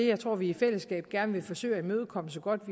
jeg tror vi i fællesskab gerne vil forsøge at imødekomme så godt